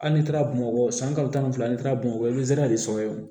Hali ni taara bamakɔ san kalo tan ni fila ni taara bamakɔ de sɔgɔlen